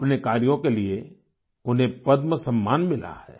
अपने कार्यों के लिए उन्हें पद्म सम्मान मिला है